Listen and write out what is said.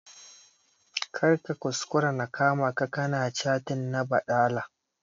Kar ka kuskura na kama ka ka na cattin na baɗala!